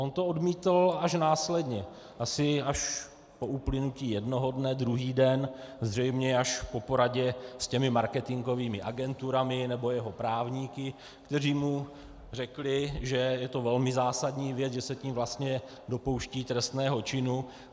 On to odmítl až následně, asi až po uplynutí jednoho dne, druhý den, zřejmě až po poradě s těmi marketingovými agenturami nebo jeho právníky, kteří mu řekli, že je to velmi zásadní věc, že se tím vlastně dopouští trestného činu.